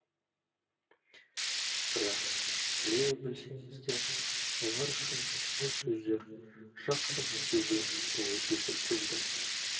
бірақ біле білсеңіздер олар үшін ол сөздер жақсы нәтиже болып есептелді